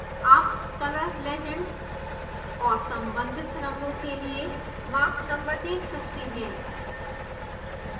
आप color legend और सम्बंधित रंगों के लिए mach number देख सकते हैं